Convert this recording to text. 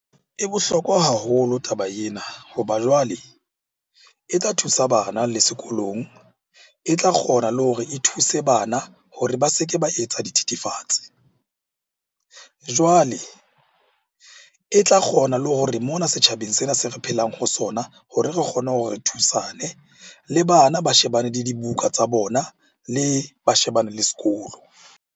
E bohlokwa haholo taba ena ho ba jwale e tla thusa bana le sekolong. E tla kgona le hore e thuse bana hore ba se ke ba etsa dithethefatsi. Jwale e tla kgona le hore mona setjhabeng sena se re phelang ho sona hore re kgone hore re thusane. Le bana ba shebane le dibuka tsa bona le ba shebane le sekolo.